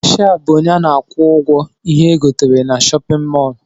Kashia bụ ọnye ana akwụ ụgwọ ihé egotere n'shóppin mol.